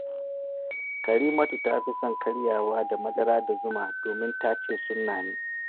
Karimatu ta fi son karyawa da madara da zuma domin ta ce sunna ne